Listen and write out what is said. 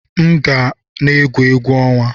M ga na-egwu egwuregwu ọnwa.